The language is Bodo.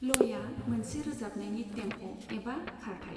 लयआ मोनसे रोजाबनायनि टेम्प' एबा खारथाइ।